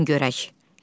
Buyurun görək.